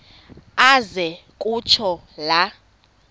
aze kutsho la